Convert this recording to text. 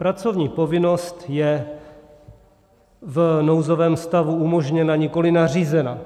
Pracovní povinnost je v nouzovém stavu umožněna, nikoliv nařízena.